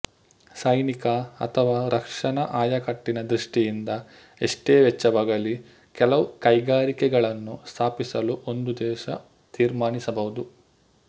ಸೈನಿಕ ಅಥವಾ ರಕ್ಷಣ ಆಯಕಟ್ಟಿನ ದೃಷ್ಟಿಯಿಂದ ಎಷ್ಟೇ ವೆಚ್ಚವಾಗಲಿ ಕೆಲವು ಕೈಗಾರಿಕೆಗಳನ್ನು ಸ್ಥಾಪಿಸಲು ಒಂದು ದೇಶ ತೀರ್ಮಾನಿಸಬಹುದು